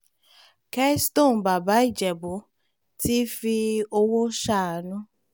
kessington bàbá ìjẹ̀bù tíì fi owó ṣàánú